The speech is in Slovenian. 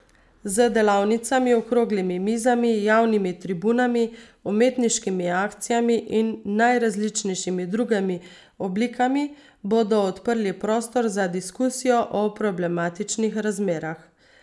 Z delavnicami, okroglimi mizami, javnimi tribunami, umetniškimi akcijami in najrazličnejšimi drugimi oblikami bodo odprli prostor za diskusijo o problematičnih razmerah.